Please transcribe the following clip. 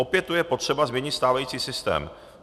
Opět tu je potřeba změnit stávající systém.